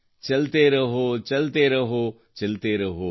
ಚಲತೇ ರಹೋ ಚಲತೇ ರಹೋ ಚಲತೇ ರಹೋ